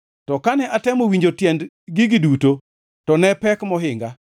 To kane atemo winjo tiend gigi duto, to ne opek mohinga;